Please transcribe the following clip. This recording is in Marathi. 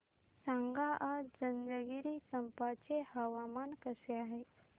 सांगा आज जंजगिरचंपा चे हवामान कसे आहे